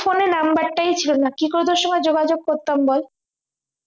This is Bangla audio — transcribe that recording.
numbar টাই ছিল না কি করে তোর সঙ্গে যোগাযোগ করতাম বল